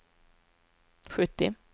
sjuttio